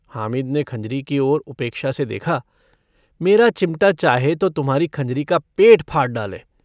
हामिद ने खँजरी की ओर उपेक्षा से देखा - मेरा चिमटा चाहे तो तुम्हारी खँजरी का पेट फाड़ डाले।